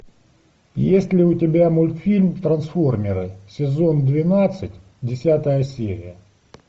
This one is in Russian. есть ли у тебя мультфильм трансформеры сезон двенадцать десятая серия